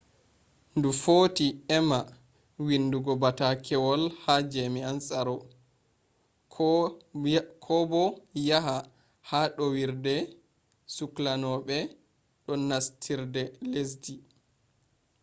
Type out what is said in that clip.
ndu footi emma windugo batakewolha jamian tsaro ko bo yaha ha ɗowirɗe sukloɓe do nastirde lesdi